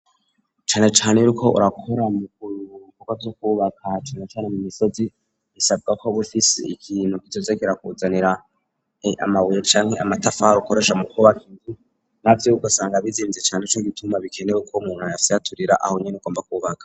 Canecane iyo uriko urakora mu bikorwa vyo kubaka na canacane mu misozi bisabwa ko uba ufise ikintu kizoza kirakuzanira amabuye canke amatafari ukoresha mu kubaka inzu, navyo ugasanga bizimvye cane, nico gituma bikenewe ko umuntu ayafyaturira aho nyene agomba kubaka.